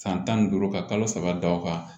San tan ni duuru ka kalo saba da o kan